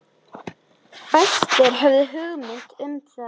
Fæstir höfðu hugmynd um það.